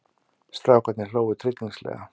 Strákarnir hlógu tryllingslega.